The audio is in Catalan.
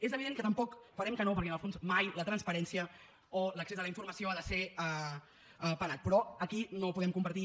és evident que tampoc votarem que no perquè en el fons mai la transparència o l’accés a la informació ha de ser penat però aquí no ho podem compartir